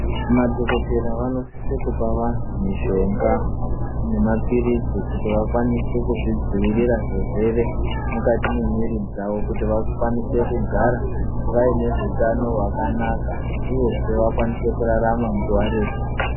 Madhokodhera vanosise kupe vanthu mushonga nemapiritsi kuti vakwanise kuzvidzivirira zvirwere mukati memwiri dzavo kuti vakwanise kugara vaine hutano hwakanaka uyezve vakwanise kurarama nguwa refu.